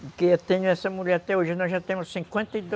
Porque eu tenho essa mulher até hoje, nós já temos cinquenta e do